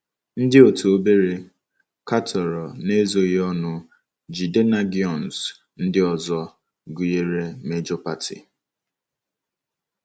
Ndị otu obere katọrọ n'ezoghị ọnụ rJidennagions ndị ọzọ, gụnyere Major Party.